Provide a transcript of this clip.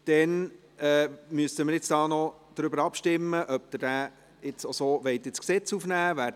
Nun müssen wir noch darüber abstimmen, ob Sie diesen Antrag so ins Gesetz aufnehmen wollen.